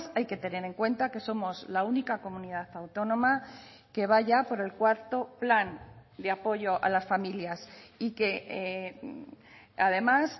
hay que tener en cuenta que somos la única comunidad autónoma que va ya por el cuarto plan de apoyo a las familias y que además